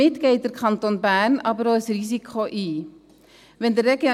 Damit geht der Kanton Bern aber auch ein Risiko ein.